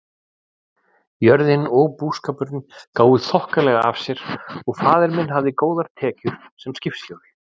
Jörðin og búskapurinn gáfu þokkalega af sér og faðir minn hafði góðar tekjur sem skipstjóri.